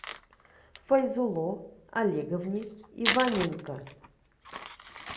файзулло олеговне иваненко